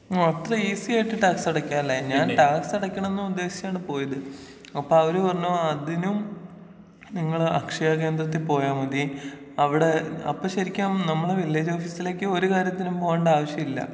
ആ അത്ര ഈസി ആയിട്ട് ടാക്സ് അടക്കാലെ ഞാൻ ടാക്സ് അടക്കണംന്ന് ഉദ്ദേശിച്ചിട്ടാണ് പോയത് അപ്പൊ അവര് പറഞ്ഞു അതിനും നിങ്ങള് അക്ഷയ കേന്ദ്രത്തിൽ പോയാ മതി അവിടെ അപ്പോ ശരിക്കും നമ്മള് വില്ലേജ് ഓഫീസിലേക്ക് ഒരു കാര്യത്തിനും പോകണ്ട ആവശ്യല്ല.